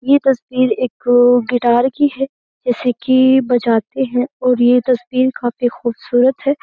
ये तस्वीर एक गिटार की है जैसे कि बजाते हैं और ये तस्वीर काफी खूबसूरत है।